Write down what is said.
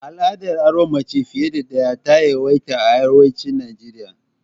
Al'adar auren mace fiya da daya, ta yawaita a arewacin Naijeriya.